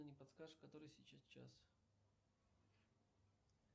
не подскажешь который сейчас час